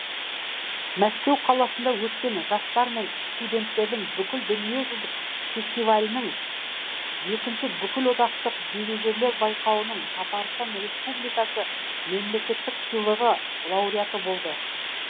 мәскеу қаласында өткен жастар мен студенттердің бүкіл дүниежүзілік фестивалінің екінші бүкілодақтық дирижерлер байқауының татарстан республикасы мемлекеттік сыйлығы лауреаты болды